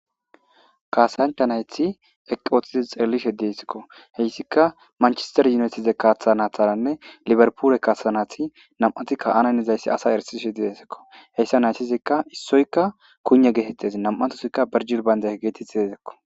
kasancha nayti eqq utidi xellishe desekko heyssika manchester yunytize kaaththanatharanne liberpule kaasanathi nam'atikka ananizayssi asa erisishe didesekko, heyssa naytizikka issoykka kune geetettez nam'atosikka berjil baynda geetetti dezekko